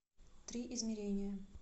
три измерения